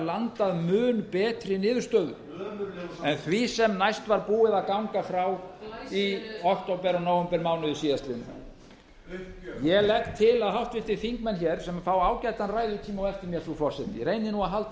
landað mun betri niðurstöðu ömurlegur málflutningur en því sem næst var búið að ganga frá í október og nóvembermánuði síðastliðinn uppgjöf ég legg til að háttvirtir þingmenn sem fá ágætan ræðutíma á eftir mér frú forseti reyni nú að halda